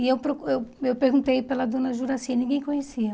E eu procu eu eu perguntei pela dona Juraci e ninguém conhecia.